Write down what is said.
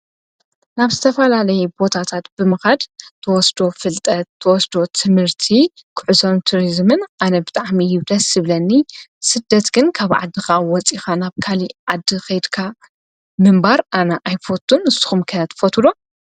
ናብ ዝተፈላለየ ቦታታት ብምኻድ ትወስዶ ፍልጠት ትወስዶ ትምህርቲ ጉዕዞን ቱሪዝምን ኣነ ብጣዕሚ እዩ ደስ ዝብለኒ ስደት ግን ካብ ዓድኻ ወፂኻ ናብ ካልእ ዓዲ ከይድካ ምንባር ኣነ ኣይፈቱን ንስኹም ከ ትፈትዉዶ?